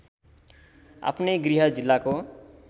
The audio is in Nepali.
आफनै गृह जिल्लाको